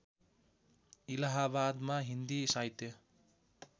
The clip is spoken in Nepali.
इलाहाबादमा हिन्दी साहित्य